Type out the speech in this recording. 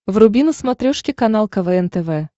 вруби на смотрешке канал квн тв